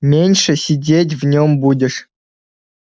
меньше сидеть в нём будешь